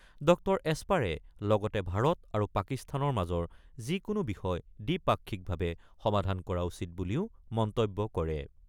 ড এস্পাৰে লগতে ভাৰত আৰু পাকিস্তানৰ মাজৰ যিকোনো বিষয় দ্বিপাক্ষিকভাৱে সমাধান কৰা উচিত বুলিও মন্তব্য কৰে।